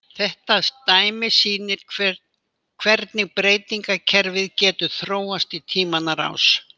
Þetta dæmi sýnir hvernig beygingarkerfið getur þróast í tímanna rás.